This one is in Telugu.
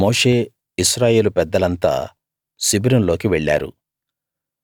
అప్పుడు మోషే ఇశ్రాయేలు పెద్దలంతా శిబిరంలోకి వెళ్ళారు